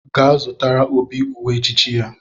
Gaa zụtara Obi uwe echichi ya!